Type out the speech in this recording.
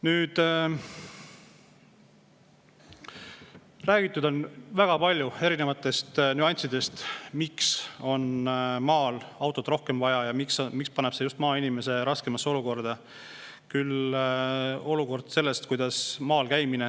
Nüüd, räägitud on väga palju erinevatest nüanssidest, miks on maal autot rohkem vaja ja miks paneb see just maainimese raskemasse olukorda.